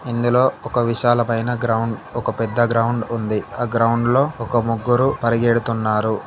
ఇందులో ఒక విశాలమైన గ్రౌండ్ ఒక పెద్ద గ్రౌండ్ ఉంది. ఆ గ్రౌండ్ లో ఒక ముగ్గురు పడగెడుతున్నారు.